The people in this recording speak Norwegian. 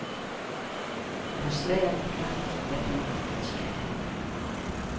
Det var svært glatt der ulykken skjedde.